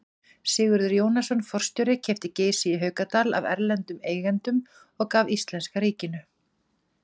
Sigurður Jónasson forstjóri keypti Geysi í Haukadal af erlendum eigendum og gaf íslenska ríkinu.